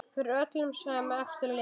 Fyrir öllum sem eftir lifa!